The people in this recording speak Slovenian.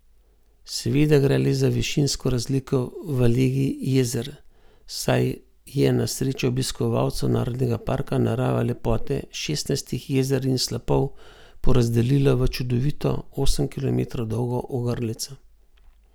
Seveda gre le za višinsko razliko v legi jezer, saj je na srečo obiskovalcev narodnega parka narava lepote šestnajstih jezer in slapov porazdelila v čudovito, osem kilometrov dolgo ogrlico.